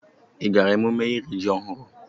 Ị gaara emume iri ji ọhụrụ?